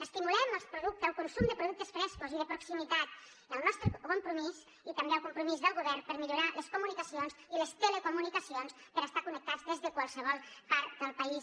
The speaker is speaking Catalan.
estimulem el consum de productes frescos i de proximitat i el nostre compromís i també el compromís del govern per millorar les comunicacions i les telecomunicacions per estar connectats des de qualsevol part del país